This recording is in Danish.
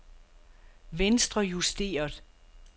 venstrejusteret